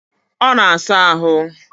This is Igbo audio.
Ọ na saa ahụ